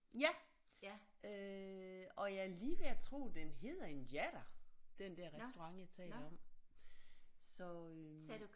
Ja øh og jeg er lige ved at tro den hedder Injera den der restaurant jeg taler om så øh